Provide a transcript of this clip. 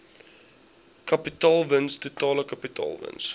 kapitaalwins totale kapitaalwins